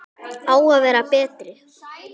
Á að vera betri.